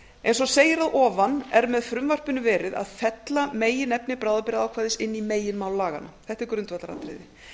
eins og segir að ofan er með frumvarpinu verið að fella meginefni bráðabirgðaákvæðis inn í meginmál laganna þetta er grundvallaratriði